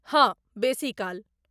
हँ, बेसी काल।